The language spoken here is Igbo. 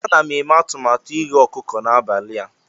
Ana m eme atụmatụ ighe ọkụkọ n'abalị a.